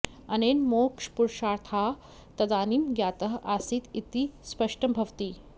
अनेन मोक्षपुरुषार्थाः तदानीं ज्ञातः आसीत् इति स्पष्टं भवति